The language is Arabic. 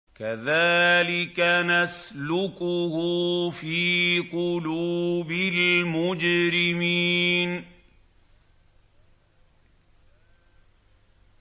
كَذَٰلِكَ نَسْلُكُهُ فِي قُلُوبِ الْمُجْرِمِينَ